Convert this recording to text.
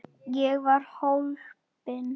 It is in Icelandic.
Ég var hólpin.